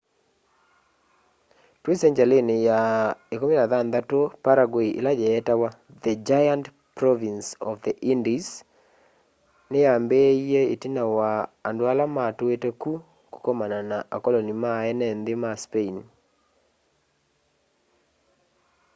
twi sengyalini ya 16 paraguay ila yeetawa the giant province of the indies ni yaambiie itina wa andũ ala matuite ku kũkomana na akoloni ma eene nthi ma spain